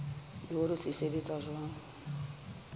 le hore se sebetsa jwang